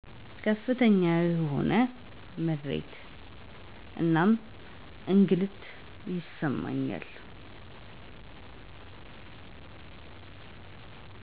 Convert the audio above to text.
ከፍተኛ የሆነ ምሬት እና እንግልት ይሰማኛል።